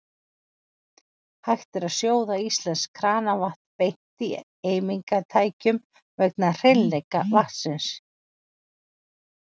Hægt er að sjóða íslenskt kranavatn beint í eimingartækjum vegna hreinleika vatnsins.